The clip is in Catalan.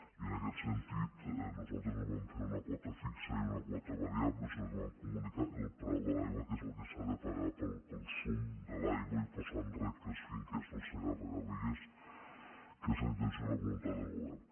i en aquest sentit nosaltres no vam fer una quota fixa i una quota variable sinó que vam comunicar el preu de l’aigua que és el que s’ha de pagar pel consum de l’aigua i posar en reg les finques del segarra garrigues que és la intenció i la voluntat del govern